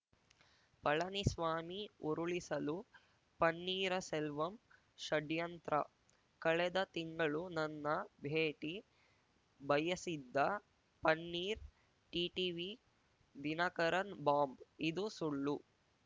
ಪಳನಿಸ್ವಾಮಿ ಉರುಳಿಸಲು ಪನ್ನೀರಸೆಲ್ವಂ ಷಡ್ಯಂತ್ರ ಕಳೆದ ತಿಂಗಳು ನನ್ನ ಭೇಟಿ ಬಯಸಿದ್ದ ಪನ್ನೀರ್‌ ಟಿಟಿವಿ ದಿನಕರನ್‌ ಬಾಂಬ್‌ ಇದು ಸುಳ್ಳು